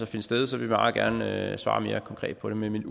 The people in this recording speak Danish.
finde sted så vil vi meget gerne svare mere konkret på det men mit